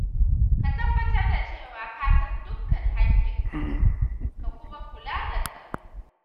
Ka tabbatar da cewa ka san dukkan hakkinka ka kuma kula da tsaro.